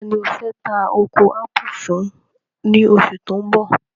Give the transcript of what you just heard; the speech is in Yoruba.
Taani o fẹ́ tà oko ápù fún ní oṣù tí o n bọ̀?